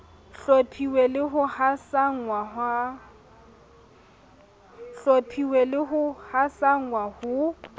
hlophiswe le ho hasanngwa ho